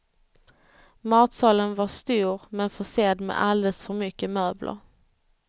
Matsalen var stor, men försedd med alldeles för mycket möbler.